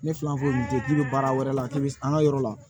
Ne fila foyi tɛ k'i bɛ baara wɛrɛ la k'i bɛ an ka yɔrɔ la